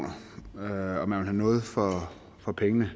gøre noget for klimaet